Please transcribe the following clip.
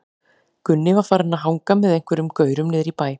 Gunni var farinn að hanga með einhverjum gaurum niðri í bæ.